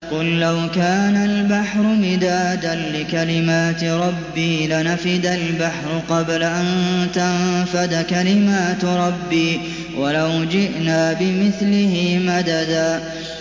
قُل لَّوْ كَانَ الْبَحْرُ مِدَادًا لِّكَلِمَاتِ رَبِّي لَنَفِدَ الْبَحْرُ قَبْلَ أَن تَنفَدَ كَلِمَاتُ رَبِّي وَلَوْ جِئْنَا بِمِثْلِهِ مَدَدًا